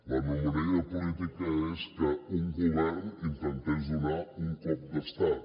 l’anomalia política és que un govern intentés donar un cop d’estat